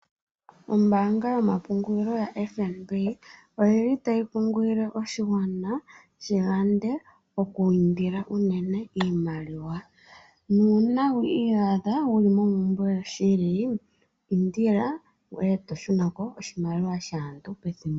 Ombanga yomapungulilo yaFNB oyili tayi kunkilile oshigwana shi yande oku indila unene iimaliwa. Na una wi iyadha wuli mompumbwe yoshili indila eto shunako oshimaliwa shaantu pethimbo.